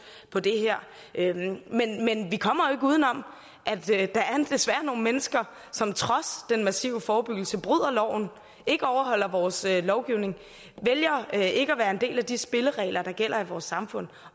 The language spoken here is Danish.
på det her men vi kommer jo uden om at der desværre er nogle mennesker som trods den massive forebyggelse bryder loven ikke overholder vores lovgivning vælger ikke at være en del af de spilleregler der gælder i vores samfund